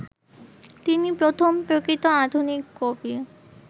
তিনি প্রথম প্রকৃত আধুনিক কবি